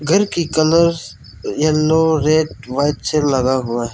घर की colours yellow red white से लगा हुआ है।